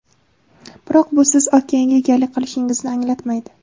Biroq bu siz okeanga egalik qilishingizni anglatmaydi.